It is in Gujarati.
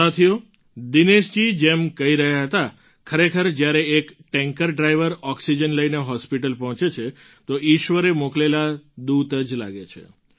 સાથીઓ દિનેશજી જેમ કહી રહ્યા હતા ખરેખર જ્યારે એક ટૅન્કર ડ્રાઇવર ઑક્સિજન લઈને હૉસ્પિટલ પહોંચે છે તો ઈશ્વરે મોકલેલા દૂત જ લાગે છે